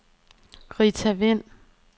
Rita Wind